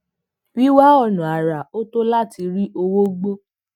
wíwá ònà àrà oto láti rí owó gbó